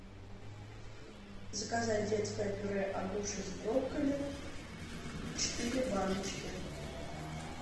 заказать детское пюре агуша с брокколи четыре баночки